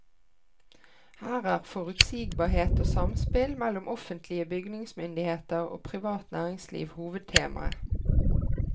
Her er forutsigbarhet og samspill mellom offentlige bygningsmyndigheter og privat næringsliv hovedtemaet.